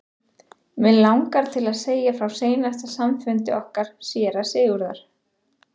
Mig langar til að segja frá seinasta samfundi okkar séra Sigurðar.